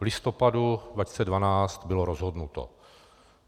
V listopadu 2012 bylo rozhodnuto.